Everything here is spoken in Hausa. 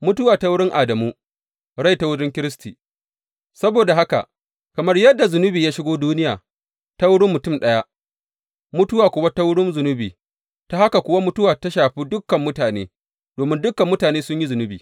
Mutuwa ta wurin Adamu, rai ta wurin Kiristi Saboda haka, kamar yadda zunubi ya shigo duniya ta wurin mutum ɗaya, mutuwa kuma ta wurin zunubi, ta haka kuwa mutuwa ta shafi dukan mutane, domin dukan mutane sun yi zunubi.